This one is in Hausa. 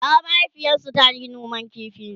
bara mahaifiyarsu tayi noman ƙifi